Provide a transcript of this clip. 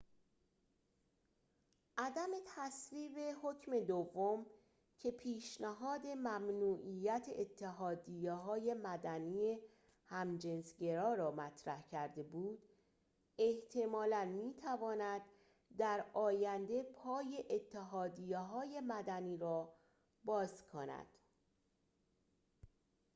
عدم تصویب حکم دوم که پیشنهاد ممنوعیت اتحادیه‌های مدنی همجنس‌گرا را مطرح کرده بود احتمالاً می‌تواند در آینده پای اتحادیه‌های مدنی را باز کند